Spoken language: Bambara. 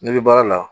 Ne bɛ baara la